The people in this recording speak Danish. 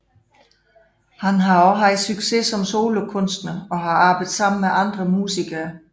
Han har også haft succes som solokunstner og har arbejdet sammen med andre musikere